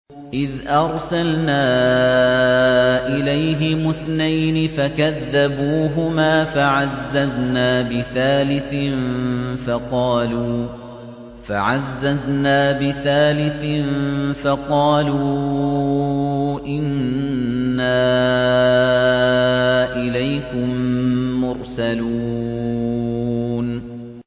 إِذْ أَرْسَلْنَا إِلَيْهِمُ اثْنَيْنِ فَكَذَّبُوهُمَا فَعَزَّزْنَا بِثَالِثٍ فَقَالُوا إِنَّا إِلَيْكُم مُّرْسَلُونَ